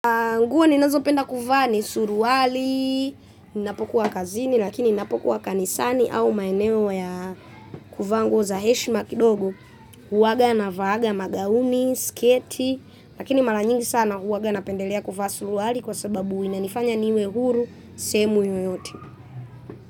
Nguo ninazo penda kuvaa suruali, ninapokuwa kazini, lakini ninapokuwa kanisani au maeneo ya kuvaa za heshima kidogo. Huwaga na vaaga, magauni, sketi, lakini mara nyingi sana huwaga napendelea kuvaa suruali kwa sababu inanifanya niwe huru, sehemu yoyote.